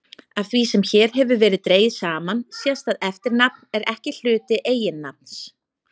Af því sem hér hefur verið dregið saman sést að eftirnafn er ekki hluti eiginnafns.